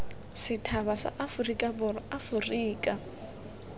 sethaba sa aforika borwa aforika